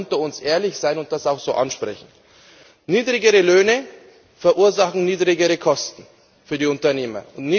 Da müssen wir auch unter uns ehrlich sein und das auch so ansprechen. Niedrigere Löhne verursachen niedrigere Kosten für die Unternehmer.